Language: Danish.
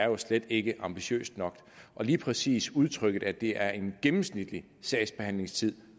jo slet ikke er ambitiøst nok og lige præcis udtrykket med at det er en gennemsnitlig sagsbehandlingstid